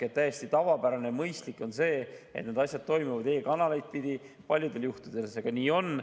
On täiesti tavapärane ja mõistlik, et need asjad toimuvad e‑kanaleid pidi, ja paljudel juhtudel see on ka praegu nii.